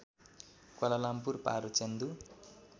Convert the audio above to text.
Kuala Lumpur पारो चेन्दु